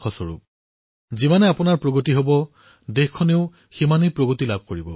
আপোনালোকৰ যিমানেই প্ৰগতি হব সিমানেই দেশৰ প্ৰগতি হব